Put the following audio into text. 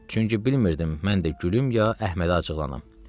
Çünki bilmirdim mən də gülüm ya Əhmədə acıqlanam.